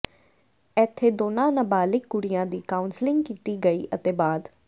ਇੱਥੇ ਦੋਨਾਂ ਨਬਾਲਿਗ ਕੁੜੀਆਂ ਦੀ ਕਾਉਂਸਲਿੰਗ ਕੀਤੀ ਗਈ ਅਤੇ ਬਾਅਦ